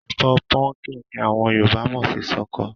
Ẹ̀fọ́ pumpkin ni àwọn Yorùbá mọ̀ sí ṣọkọ.